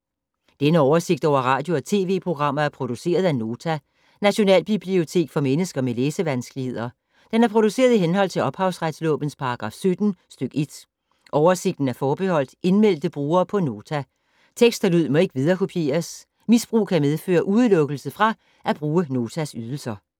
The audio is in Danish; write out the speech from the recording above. Denne oversigt over radio og TV-programmer er produceret af Nota, Nationalbibliotek for mennesker med læsevanskeligheder. Den er produceret i henhold til ophavsretslovens paragraf 17 stk. 1. Oversigten er forbeholdt indmeldte brugere på Nota. Tekst og lyd må ikke viderekopieres. Misbrug kan medføre udelukkelse fra at bruge Notas ydelser.